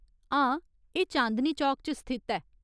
हां, एह् चांदनी चौक च स्थित ऐ।